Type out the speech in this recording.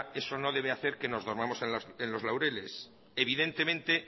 eso no debe hacer que nos durmamos en los laureles y